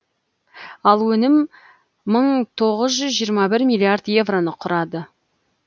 ал өнім мың тоғыз жүз жиырма бір миллиард евроны құрды